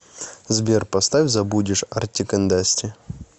сбер поставь забудешь артик энд асти